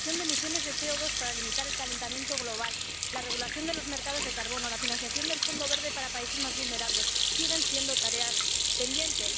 La reducción de emisiones de CO2 para limitar el calentamiento global, la regulación de los mercados de carbono, la financiación del Fondo Verde para países más vulnerables siguen siendo tareas pendientes.